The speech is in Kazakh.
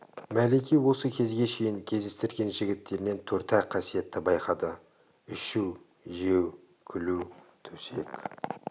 мәлике осы кезге шейін кездестірген жігіттерінен төрт-ақ қасиетті байқады ішу жеу күлу төсек